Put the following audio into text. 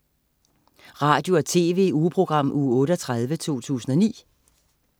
Radio- og TV-ugeprogram Uge 38, 2009